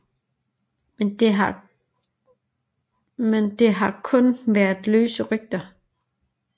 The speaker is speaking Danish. Men det har kun været løse rygter